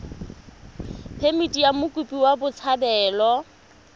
phemithi ya mokopi wa botshabelo